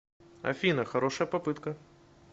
афина хорошая попытка